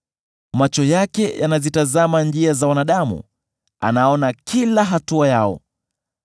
“Macho yake yanazitazama njia za wanadamu; anaona kila hatua yao.